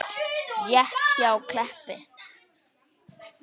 Rétt hjá Kleppi.